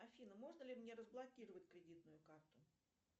афина можно ли мне разблокировать кредитную карту